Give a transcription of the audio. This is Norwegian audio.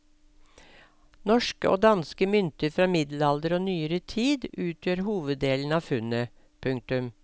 Norske og danske mynter fra middelalder og nyere tid utgjør hoveddelen av funnet. punktum